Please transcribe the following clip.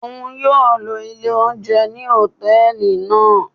Oun yóò ló ilè ounjẹ ni hòtẹ́ẹ̀lì naa.